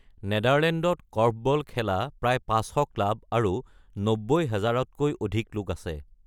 নেদাৰলেণ্ডত কৰ্ফবল খেলা প্ৰায় ৫০০ ক্লাব আৰু ৯০,০০০ তকৈ অধিক লোক আছে।